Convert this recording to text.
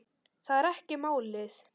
Það er ekki málið.